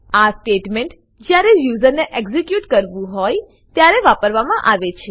આ સ્ટેટમેન્ટ જયારે યુઝરને એક્ઝીક્યુટ કરવું હોય ત્યારે વાપરવા માં આવે છે